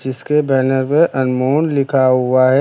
इसके बैनर पे अनमोल लिखा हुआ है।